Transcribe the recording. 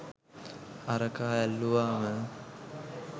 අරකා ඇල්ලුවම